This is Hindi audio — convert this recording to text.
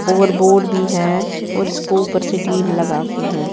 और बोर्ड भी है और इसको ऊपर से टीन लगा के हैं।